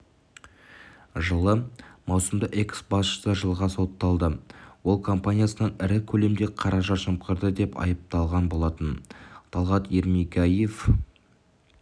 жылы маусымда экс-басшысы жылға сотталды ол компаниясынан ірі көлемде қаражат жымқырды деп айпталған болатын талғат ермегияев